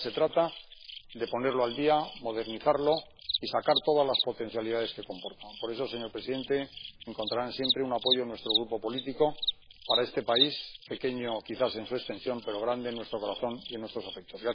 Ahora se trata de ponerlo al día, modernizarlo y sacar todas las potencialidades que comporta. Por eso, señor presidente, encontrarán siempre un apoyo en nuestro grupo político para este país, pequeño quizás en su extensión, pero grande en nuestro corazón y en nuestros afectos.